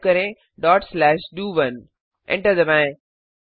type करें dot slash डीओ1 enter दबाएं